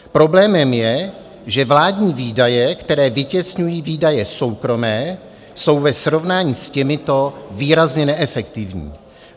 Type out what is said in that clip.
Problémem je, že vládní výdaje, které vytěsňují výdaje soukromé, jsou ve srovnání s těmito výrazně neefektivní.